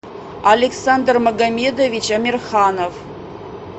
александр магомедович амирханов